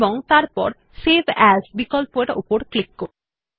এবং তারপর save as বিকল্পরের উপর ক্লিক করুন